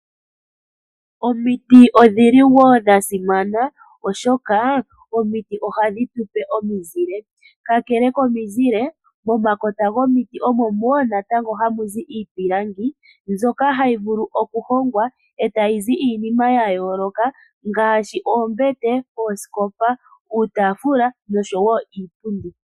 Omiti odhili woo dhasimana oshoka ohadhi tu pe omuzile kakele komuzile, momakota gomiti omo woo hamu zi iipilangi mbyoka hayi vulu okuhongwa e tayi zi iinima ya yooloka ngaashi: oombete, oosikopa, uutafula noshoo woo iipundi.